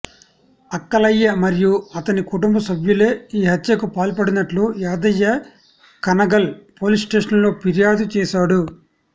అక్కలయ్య మరియు అతని కుటుంబ సభ్యులే ఈ హత్యకు పాల్పడినట్లు యాదయ్య కనగల్ పోలీస్స్టేషన్లో ఫిర్యాదు చేశాడు